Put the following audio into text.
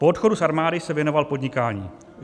Po odchodu z armády se věnoval podnikání.